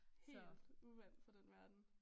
Helt uvandt fra den verden